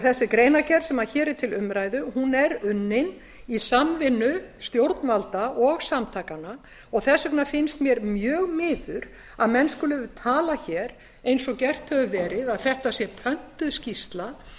þessi greinargerð sem hér er til umræðu er unnin í samvinnu stjórnvalda og samtakanna þess vegna finnst mér mjög miður að menn skuli tala hér eins og gert hefur verið að þetta sé pöntuð skýrsla það